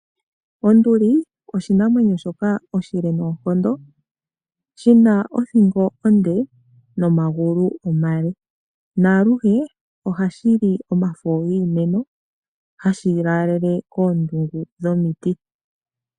Onduli oshinamwenyo shoka oshile noonkondo, shina othingo onde nomagulu omale, naaluhe ohashili omafo giimeno hashilaalele koondungu dhomiti.